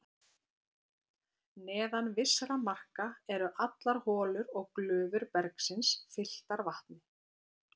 Neðan vissra marka eru allar holur og glufur bergsins fylltar vatni.